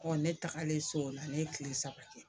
ne tagalen so o la ne tile saba kɛ